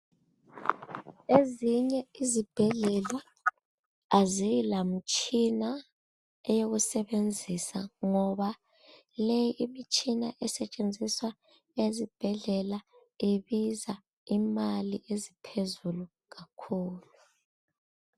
Ezinye izibhedlela azilamtshina eyokusebenzisa ngoba le imitshina esetshenziswa ezibhedlela Ibiza imali eziphezulu kakhulu